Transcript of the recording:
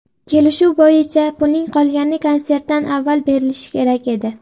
Kelishuv bo‘yicha, pulning qolgani konsertdan avval berilishi kerak edi.